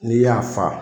N'i y'a fa